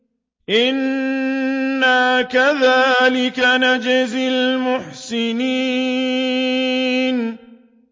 إِنَّا كَذَٰلِكَ نَجْزِي الْمُحْسِنِينَ